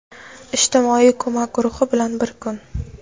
Ijtimoiy ko‘mak guruhi bilan bir kun.